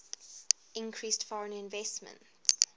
increased foreign investment